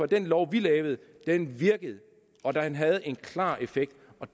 den lov vi lavede og den havde en klar effekt